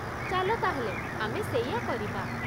ଚାଲ ତା'ହେଲେ ଆମେ ସେଇଆ କରିବା।